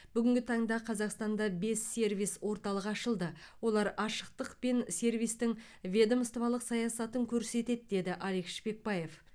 бүгінгі таңда қазақстанда бес сервис орталығы ашылды олар ашықтық пен сервистің ведомстволық саясатын көрсетеді деді алик шпекбаев